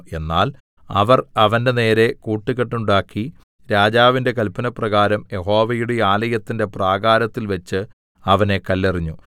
എന്നാൽ അവർ അവന്റെനേരെ കൂട്ടുകെട്ടുണ്ടാക്കി രാജാവിന്റെ കല്പനപ്രകാരം യഹോവയുടെ ആലയത്തിന്റെ പ്രാകാരത്തിൽവെച്ച് അവനെ കല്ലെറിഞ്ഞു